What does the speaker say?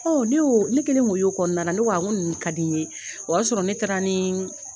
Ne oo, ne kɛlen ko y' kɔnɔnala, ne ko a n ko nunnu ka di n ɲe, o y'a sɔrɔ ne taara niii.